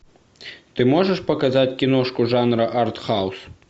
ты можешь показать киношку жанра артхаус